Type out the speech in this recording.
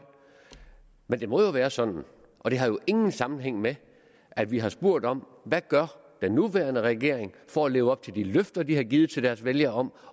men det må være sådan og det har ingen sammenhæng med at vi har spurgt om hvad den nuværende regering for at leve op til de løfter de har givet til deres vælgere om